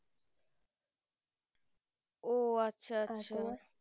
ও আচ্ছা আচ্ছা